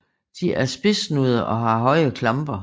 De er spidssnudede og har høje klamper